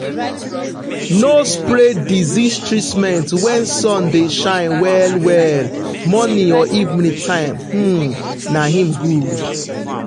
no spray disease treatment when sun dey shine well well morning or evening time um na him good.